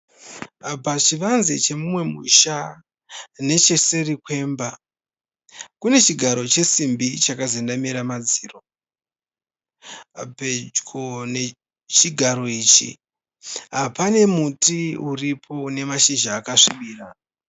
Pachivanze chemumwe musha necheseri kwemba kune chigaro chesimbi chakazendamira madziro. Pedyo nechigaro ichi pane muti uripo une mashizha akasvibira.